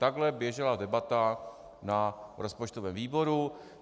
Takhle běžela debata na rozpočtovém výboru.